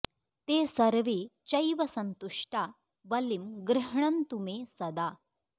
ते सर्वे चैव सन्तुष्टा बलिं गृह्णन्तु मे सदा